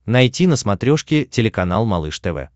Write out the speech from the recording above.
найти на смотрешке телеканал малыш тв